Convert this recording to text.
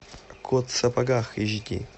кот в сапогах эйч ди